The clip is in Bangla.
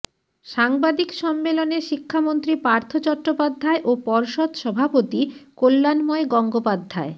সাংবাদিক সন্মেলনে শিক্ষামন্ত্রী পার্থ চট্টোপাধ্যায় ও পর্ষদ সভাপতি কল্যাণময় গঙ্গোপাধ্যায়